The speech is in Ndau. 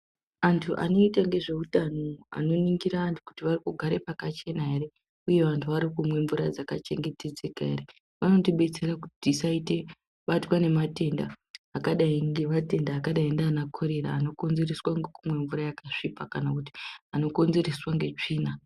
Antu anoita nezvehutano anoningira antu kuti arikugara pakachena ere uye vantu varikumwa mvura dzakachengetedzeka Ere vanotidetsera kuti tisabatwa nematenda akadai nematenda akadai nana korera anokonzereswa nekumwa mvura yakasviba kana nekumwa tsvina.